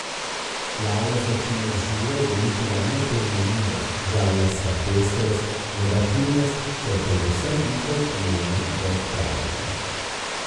Glavna značilnost žurov bo njihova neponovljivost, žanrska pestrost, inovativnost ter predvsem njihov omejen rok trajanja.